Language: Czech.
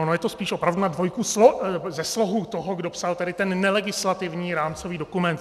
Ono je to spíš opravdu na dvojku ze slohu toho, kdo psal tady ten nelegislativní rámcový dokument.